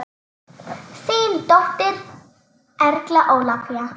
Þín dóttir, Erla Ólafía.